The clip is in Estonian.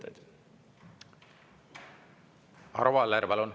Arvo Aller, palun!